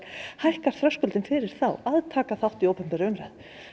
hækkar þröskuldinn fyrir þá að taka þátt í opinberri umræðu